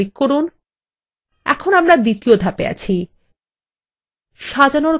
এখন আমরা দ্বিতীয় ধাপে আছিসাজানোর ক্রম নির্ধারণ